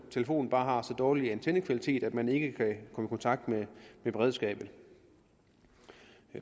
telefonen bare har så dårlig antennekvalitet at man ikke kan få kontakt med beredskabet